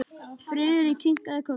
Friðrik kinkaði kolli.